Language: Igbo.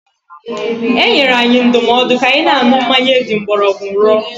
E nyere anyị ndụmọdụ ka anyị na-aṅụ mmanya eji mgbọrọgwụ rụọ.